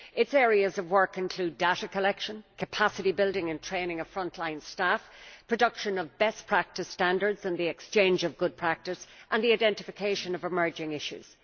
Its areas of work include data collection, capacity building and training of frontline staff, production of best practice standards and the exchange of good practice, and the identification of emerging issues.